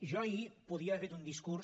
jo ahir podria haver fet un discurs